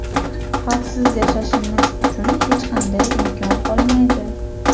Xavfsiz yashashimiz uchun hech qanday imkon qolmaydi.